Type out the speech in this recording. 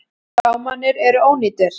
Gámarnir eru ónýtir.